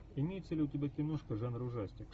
имеется ли у тебя киношка жанра ужастик